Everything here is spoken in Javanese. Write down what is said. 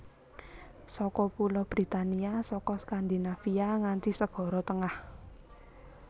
Saka Pulo Britania saka Skandinavia nganti Segara Tengah